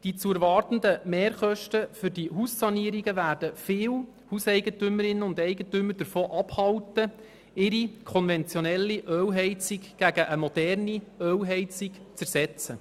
Die zu erwartenden Mehrkosten für die Haussanierungen werden viele Hauseigentümerinnen und Hauseigentümer davon abhalten, ihre konventionelle Ölheizung durch eine moderne Ölheizung zu ersetzen.